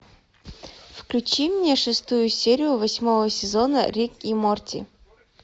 включи мне шестую серию восьмого сезона рик и морти